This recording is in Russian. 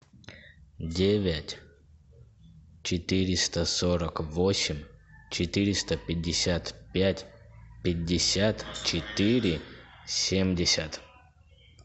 девять четыреста сорок восемь четыреста пятьдесят пять пятьдесят четыре семьдесят